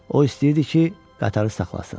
O istəyirdi ki, qatarı saxlasın.